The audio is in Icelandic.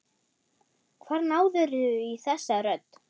Hvar náðirðu í þessa rödd?